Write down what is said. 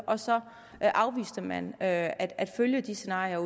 og så afviste man at at følge disse scenarier